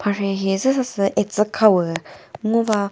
mharhe hi züsa sü etsükhawu ngo va.